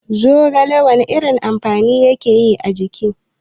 Zogale wana irin amfani yake a jiki?